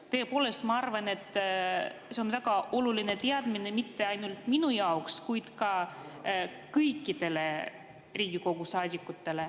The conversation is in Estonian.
Ma tõepoolest arvan, et see on väga oluline teadmine mitte ainult minu jaoks, vaid kõikidele Riigikogu saadikutele.